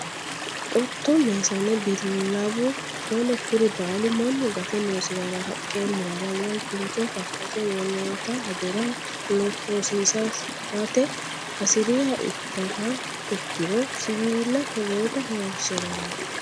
Qotto, meessane ,bilawu ,shole kuri baallu mannu gate loosirara haqqa murara woyi kincho faface wolootta hajora hosiisirate hasiriha ikkihano ikkiro siwiilla togootta horonsirano.